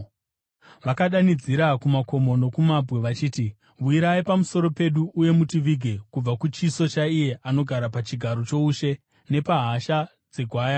Vakadanidzira kumakomo nokumabwe vachiti, “Wirai pamusoro pedu uye mutivige kubva kuchiso chaiye anogara pachigaro choushe nepahasha dzeGwayana!